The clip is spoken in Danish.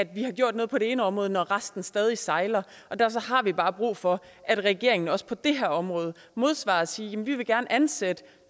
vi har gjort noget på det ene område når resten stadig sejler og derfor har vi bare brug for at regeringen også på det her område modsvarer det og siger vi vil gerne ansætte